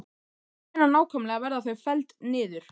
En hvenær nákvæmlega verða þau felld niður?